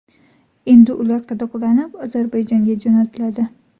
Endi ular qadoqlanib Ozarbayjonga jo‘natiladi.